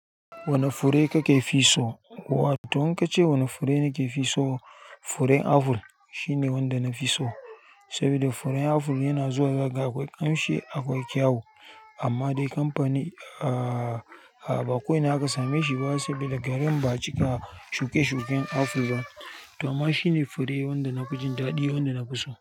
Wane fure kake fi so? To in ka ce wane fure nake fi so, furen aful shine wanda na fi so. Saboda furen aful yana zuwa zagaye akwai ƙamshi akwai kyau. Amma dai kamfani, ah baƙo ina zaka same shi ba sabida garin ba a cika shuke shuken aful zan. To amma shine fure wanda na ji daɗi wanda na fi so.